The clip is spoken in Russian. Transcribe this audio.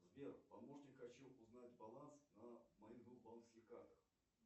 сбер помощник хочу узнать баланс на моих двух банковских картах